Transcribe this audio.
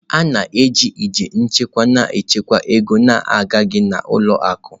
A na-eji igbe nchekwa na-echekwa ego na-agaghị n'ụlọ akụ.